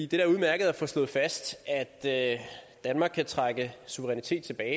det er udmærket at få slået fast at danmark kan trække suverænitet tilbage